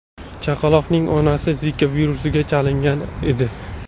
Chaqaloqning onasi Zika virusiga chalingan edi.